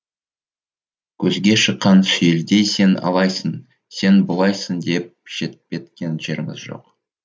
көзге шыққан сүйелдей сен алайсың сен бұлайсың деп шеттеткен жеріміз жоқ